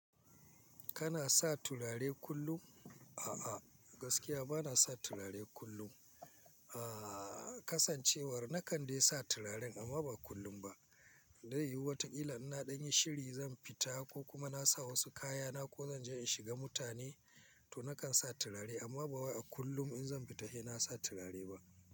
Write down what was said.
Kana sa turare kullum? A'a, gaskiya bana sa turare kullum. A kasancewar na kande sa turaren amma ba kullum ba. Zai yi wataƙila ina dan yin shiri zan fita ko kuma na sa wasu kaya na ko zan je in shiga mutane to nakan sa turare amma ba wai a kullum in zan fita Sai na sa turare ba.